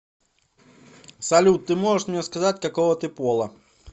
салют ты можешь мне сказать какого ты пола